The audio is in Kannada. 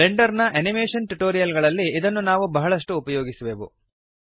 ಬ್ಲೆಂಡರ್ ನ ಅನಿಮೇಶನ್ ಟ್ಯುಟೋರಿಯಲ್ ಗಳಲ್ಲಿ ಇದನ್ನು ನಾವು ಬಹಳಷ್ಟು ಉಪಯೋಗಿಸುವೆವು